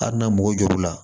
Hali na mɔgo jo la